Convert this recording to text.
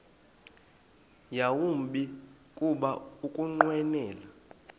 yawumbi kuba ukunqwenela